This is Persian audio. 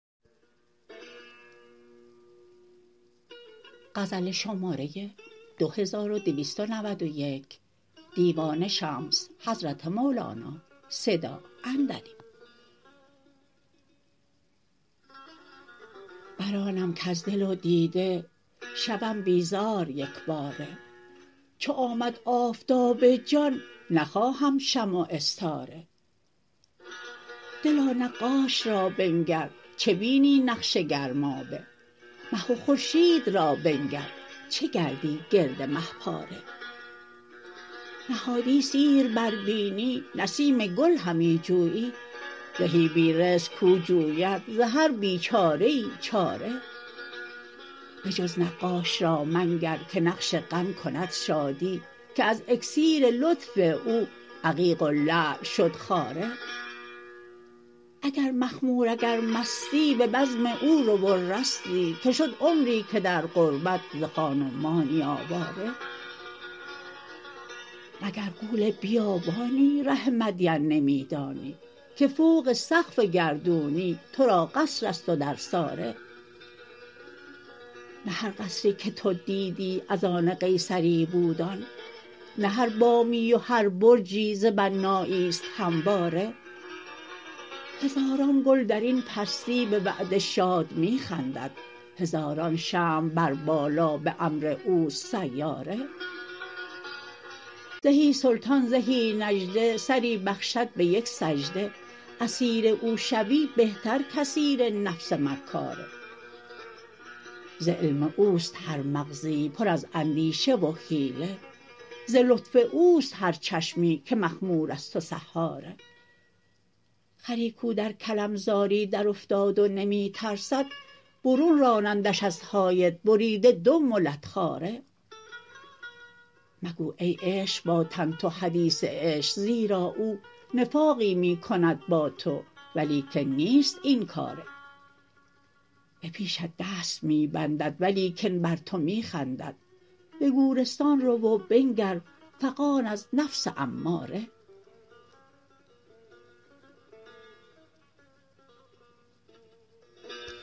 بر آنم کز دل و دیده شوم بیزار یک باره چو آمد آفتاب جان نخواهم شمع و استاره دلا نقاش را بنگر چه بینی نقش گرمابه مه و خورشید را بنگر چه گردی گرد مه پاره نهادی سیر بر بینی نسیم گل همی جویی زهی بی رزق کو جوید ز هر بیچاره ای چاره بجز نقاش را منگر که نقش غم کند شادی که از اکسیر لطف او عقیق و لعل شد خاره اگر مخمور اگر مستی به بزم او رو و رستی که شد عمری که در غربت ز خان و مانی آواره مگر غول بیابانی ره مدین نمی دانی که فوق سقف گردونی تو را قصر است و درساره نه هر قصری که تو دیدی از آن قیصری بود آن نه هر بامی و هر برجی ز بنایی است همواره هزاران گل در این پستی به وعده شاد می خندد هزاران شمع بر بالا به امر او است سیاره زهی سلطان زهی نجده سری بخشد به یک سجده اسیر او شوی بهتر کاسیر نفس مکاره ز علم او است هر مغزی پر از اندیشه و حیله ز لطف او است هر چشمی که مخمور است و سحاره خری کو در کلم زاری درافتاد و نمی ترسد برون رانندش از حایط بریده دم و لت خواره مگو ای عشق با تن تو حدیث عشق زیرا او نفاقی می کند با تو ولیکن نیست این کاره به پیشت دست می بندد ولیکن بر تو می خندد به گورستان رو و بنگر فغان از نفس اماره